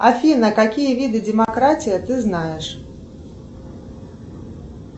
афина какие виды демократии ты знаешь